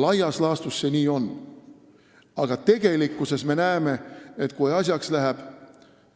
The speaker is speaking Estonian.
Laias laastus see nii ongi, aga tegelikkuses me näeme, et kui asjaks läheb,